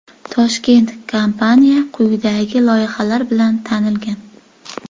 Toshkentda kompaniya quyidagi loyihalar bilan tanilgan: .